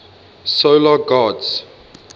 solar gods